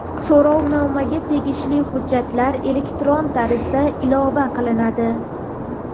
So‘rovnomaga tegishli hujjatlar elektron tarzda ilova qilinadi.